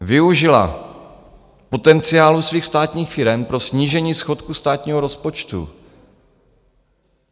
Využila potenciálu svých státních firem pro snížení schodku státního rozpočtu.